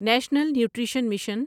national nutrition mission